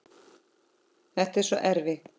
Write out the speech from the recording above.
Þetta er svo erfitt.